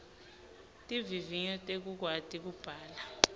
tivivinyo tekukwati kubhala